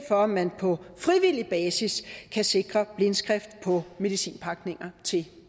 for at man på frivillig basis kan sikre en skrift på medicin pakninger til